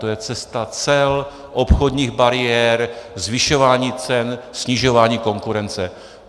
To je cesta cel, obchodních bariér, zvyšování cen, snižování konkurence.